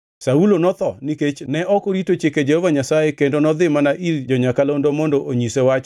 Saulo notho nikech ne ok orito singruokne gi Jehova Nyasaye. Ne ok orito chike Jehova Nyasaye, kendo nodhi mana ir jo-nyakalondo mondo onyise wach,